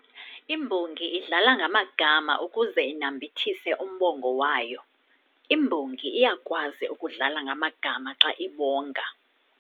Imbongi idlala ngamagama ukuze inambithise umbongo wayo. imbongi iyakwazi ukudlala ngamagama xa ibonga